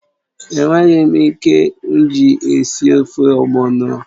È nweghị ike mji esi ofe ogbọno